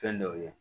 Fɛn dɔw ye